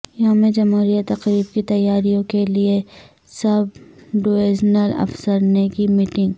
یوم جمہوریہ تقریب کی تیاریوں کیلئے سب ڈویزنل افسرنے کی میٹنگ